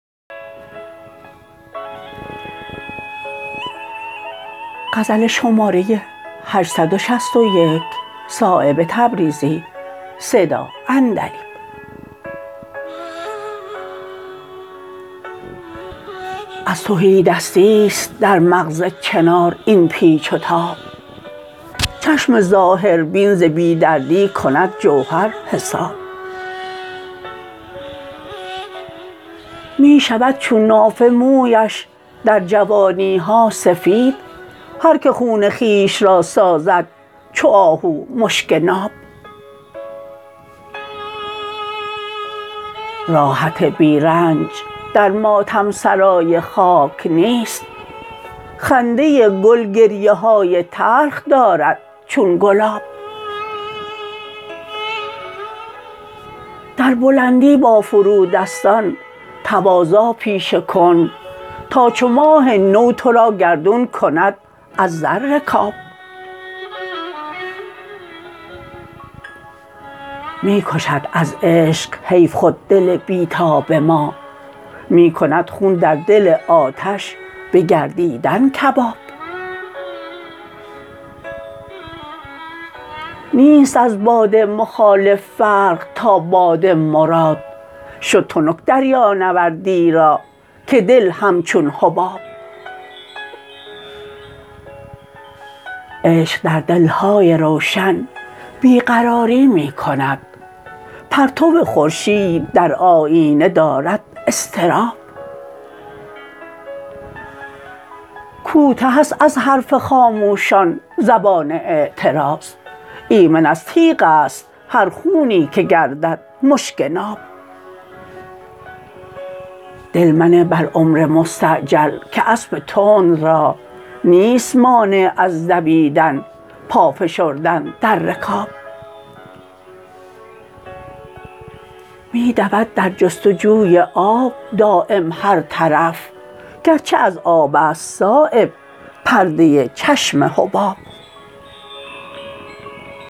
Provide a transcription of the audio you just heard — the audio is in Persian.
از تهیدستی است در مغز چنار این پیچ و تاب چشم ظاهربین ز بی دردی کند جوهر حساب می شود چون نافه مویش در جوانی ها سفید هر که خون خویش را سازد چو آهو مشک ناب راحت بی رنج در ماتم سرای خاک نیست خنده گل گریه های تلخ دارد چون گلاب در بلندی با فرودستان تواضع پیشه کن تا چو ماه نو ترا گردون کند از زر رکاب می کشد از عشق حیف خود دل بی تاب ما می کند خون در دل آتش به گردیدن کباب نیست از باد مخالف فرق تا باد مراد شد تنک دریانوردی را که دل همچون حباب عشق در دلهای روشن بی قراری می کند پرتو خورشید در آیینه دارد اضطراب کوته است از حرف خاموشان زبان اعتراض ایمن از تیغ است هر خونی که گردد مشک ناب دل منه بر عمر مستعجل که اسب تند را نیست مانع از دویدن پا فشردن در رکاب می دود در جستجوی آب دایم هر طرف گرچه از آب است صایب پرده چشم حباب